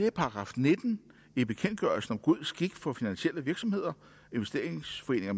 er § nitten i bekendtgørelsen om god skik for finansielle virksomheder investeringsforeninger